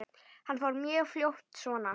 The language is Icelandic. Hann fór mjög fljótt svona.